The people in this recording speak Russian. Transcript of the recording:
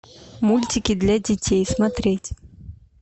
мультики для детей смотреть